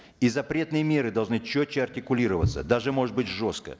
и запретные меры должны четче артикулироваться даже может быть жестко